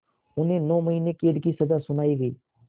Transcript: उन्हें नौ महीने क़ैद की सज़ा सुनाई गई